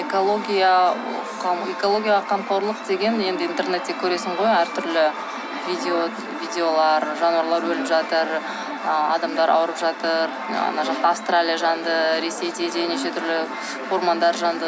экологияға қамқорлық деген енді интернетте көресің ғой әр түрлі видеолар жануарлар өліп жатыр ы адамдар ауырып жатыр ана жақта австралия жанды ресейде де неше түрлі ормандар жанды